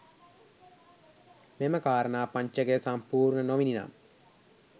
මෙම කාරණා පංචකය සම්පූර්ණ නොවිණිනම්